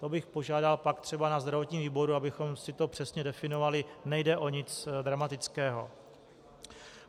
To bych požádal pak třeba na zdravotním výboru, abychom si to přesně definovali, nejde o nic dramatického.